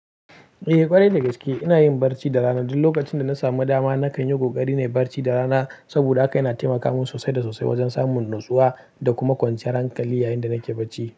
Eh ƙwarai da gaske ina yin barci da rana. Duk lokacin da na samu dama nakan yi kokari na yi barci da rana saboda haka yana taimaka min sosai da sosai wajen samun natsuwa da kuma kwanciyar hankali yayin da nake barci.